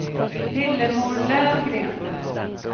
Lillemor Lövgren